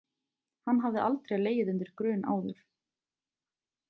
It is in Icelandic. Hann hafði aldrei legið undir grun áður.